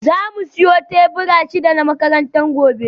Za mu siyo tebura shida na makaranta gobe